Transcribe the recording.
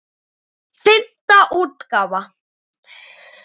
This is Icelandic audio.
Fimmta útgáfa.